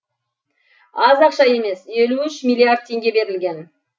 аз ақша емес елу үш миллиард теңге берілген